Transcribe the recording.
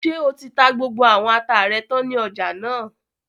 Ṣé o ti ta gbogbo àwọn ata rẹ tán ní ọjà náà?